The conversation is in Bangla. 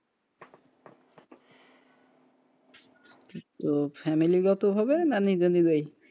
তো family গত ভাবে না নিজে নিজেই,